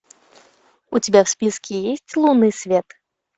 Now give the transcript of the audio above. у тебя в списке есть лунный свет